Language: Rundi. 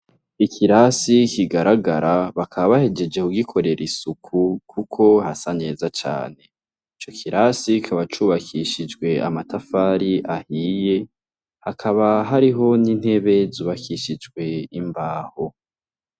Ikirasi kigarahara bakaba bahejejeje kugikorera Isuku, kuko hasa neza cane icokirasi kikaba cubakishijwe amatafari ahiye hakaba hari ho n'intebe zubakishijwe imbaho.